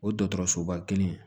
O dɔgɔtɔrɔsoba kelen